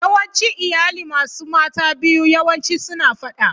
Yawancin iyali masu mata biyu yawanci suna fada.